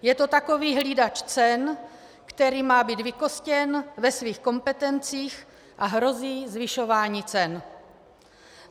Je to takový hlídač cen, který má být vykostěn ve svých kompetencích, a hrozí zvyšování cen.